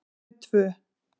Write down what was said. Þau tvö